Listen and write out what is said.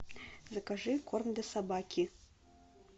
закажи корм для собаки